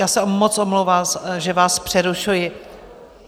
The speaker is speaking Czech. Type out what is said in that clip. Já se moc omlouvám, že vás přerušuji.